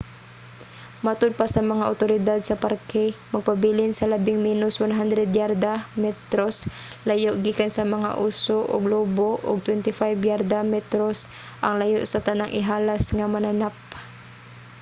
matud pa sa mga otoridad sa parke magpabilin sa labing menos 100 yarda/metros layo gikan sa mga oso ug lobo ug 25 yarda/metros ang layo sa tanang ihalas nga mananap!